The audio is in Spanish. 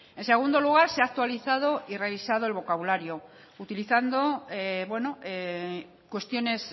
en segundo lugar se ha actualizado y revisado el vocabulario utilizando cuestiones